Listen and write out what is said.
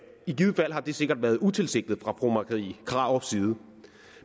i givet fald har det sikkert være utilsigtet fra fru marie krarups side